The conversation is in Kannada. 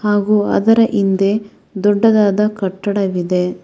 ಹಾಗೂ ಅದರ ಹಿಂದೆ ದೊಡ್ಡದಾದ ಕಟ್ಟಡವಿದೆ.